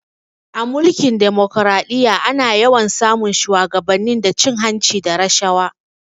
A Mulkin demokaraɗiyya ana yawan sa mun shuwagabanni da cin hanci da rashawa